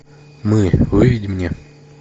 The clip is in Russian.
мы выведи мне